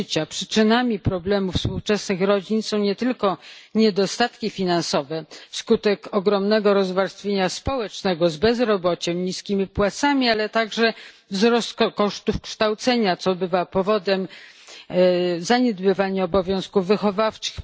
Przyczynami problemów współczesnych rodzin są nie tylko niedostatki finansowe wskutek ogromnego rozwarstwienia społecznego z bezrobociem i niskimi płacami, ale także wzrost kosztów kształcenia, co bywa powodem zaniedbywania obowiązków wychowawczych.